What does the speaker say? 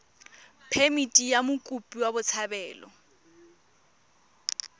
phemithi ya mokopi wa botshabelo